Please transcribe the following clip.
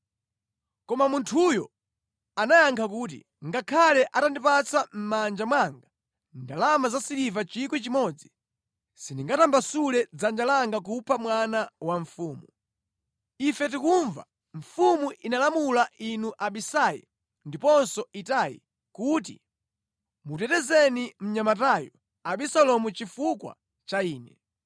Koma munthuyo anayankha kuti, “Ngakhale atandipatsa mʼmanja mwanga ndalama zasiliva 1,000, sindingatambasule dzanja langa kupha mwana wa mfumu. Ife tikumva, mfumu inalamula inu Abisai ndiponso Itai kuti, ‘Mutetezeni mnyamatayo Abisalomu chifukwa cha ine!’